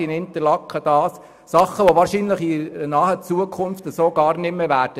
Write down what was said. Dies betrifft Dinge, die in naher Zukunft so wahrscheinlich gar nicht mehr sein werden.